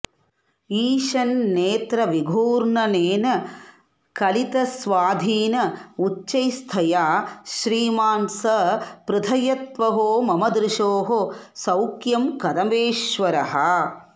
ईषन्नेत्रविघूर्णनेन कलितस्वाधीन उच्चैस्तया श्रीमान् स प्रथयत्वहो मम दृशोः सौख्यं कदम्बेश्वरः